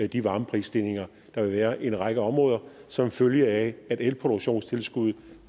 de varmeprisstigninger der vil være i en række områder som følge af at elproduktionstilskuddet